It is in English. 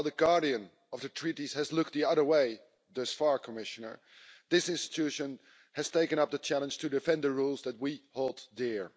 While the Guardian of the Treaties has looked the other way thus far, Commissioner, this institution has taken up the challenge to defend the rules that we hold dear.